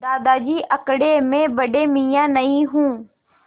दादाजी कड़के मैं बड़े मियाँ नहीं हूँ